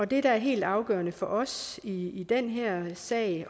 det der er helt afgørende for os i den her sag